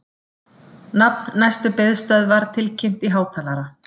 Nafn næstu biðstöðvar tilkynnt í hátalara